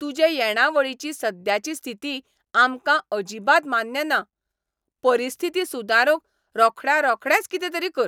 तुजे येणावळीची सद्याची स्थिती आमकां अजिबात मान्य ना. परिस्थिती सुदारूंक रोखड्यारोखडेंच कितेंतरी कर.